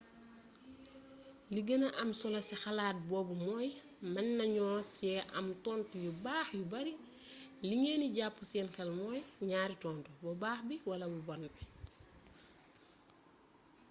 li gëna am solo ci xeetu xalaat boobu mooy mën nañu ci am tontu yu baax yu bari li ngeen di jàpp seen xel mooy ñaari tontu bu baax bi wala bu bon bi